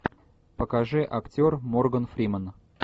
покажи актер морган фриман